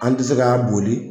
An tɛ se k'a boli.